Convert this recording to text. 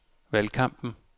valgkampen